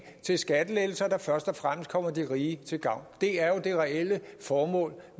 til skattelettelser der først og fremmest kommer de rige til gavn det er jo det reelle formål